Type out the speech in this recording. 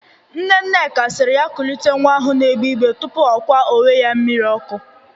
Nne Nneka siri ya kulite nwa ahụ na-egbe igbee tupu ọ kwa onwe ya mmiri ọkụ.